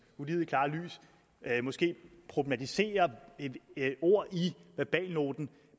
ulidelig klare lys måske problematisere et ord i verbalnoten